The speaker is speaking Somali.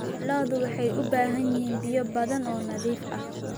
Lo'du waxay u baahan yihiin biyo badan oo nadiif ah.